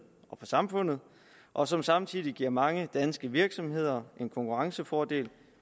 og for samfundet og som samtidig giver mange danske virksomheder en konkurrencefordel